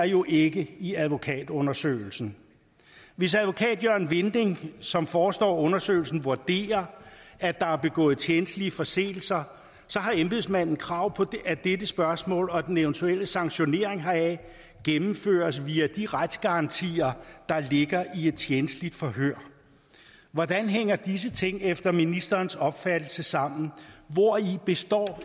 jo ikke i advokatundersøgelsen hvis advokat jørgen vinding som forestår undersøgelsen vurderer at der er begået tjenstlige forseelser så har embedsmanden krav på at dette spørgsmål og den eventuelle sanktionering heraf gennemføres via de retsgarantier der ligger i et tjenstligt forhør hvordan hænger disse ting efter ministerens opfattelse sammen hvori består